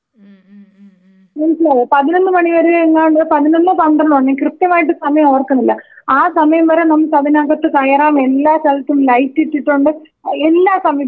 മനസ്സിലായോ പതിനൊന്ന് മണി വരെ എങ്ങാണ്ട് പതിനൊന്നോ പന്ത്രണ്ടോ ഞാൻ കൃത്യമായിട്ട് സമയോർക്കുന്നില്ല ആ സമയം വരെ നമുക്കതിനകത്ത് കയറാം എല്ലാ സ്ഥലത്തും ലൈറ്റിട്ടിട്ടുണ്ട് ആ എല്ലാ സംവിധാനങ്ങളും അവിടെയുമുണ്ട്.